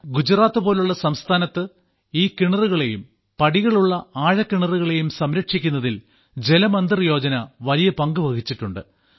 ഗുജറാത്ത് പോലെയുള്ള സംസ്ഥാനത്ത് ഈ കിണറുകളേയും പടികളുള്ള ആഴക്കിണറുകളെയും സംരക്ഷിക്കുന്നതിൽ ജലമന്ദിർ യോജന വലിയ പങ്കുവഹിച്ചിട്ടുണ്ട്